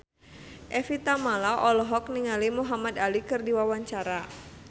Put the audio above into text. Evie Tamala olohok ningali Muhamad Ali keur diwawancara